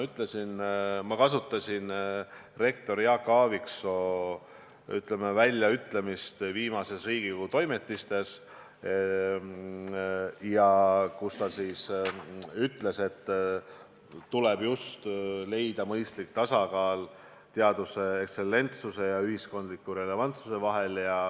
Ma kasutasin rektor Jaak Aaviksoo väljaütlemist viimastes Riigikogu Toimetistes, kus ta ütles, et tuleb leida mõistlik tasakaal teaduse ekstsellentsuse ja ühiskondliku relevantsuse vahel.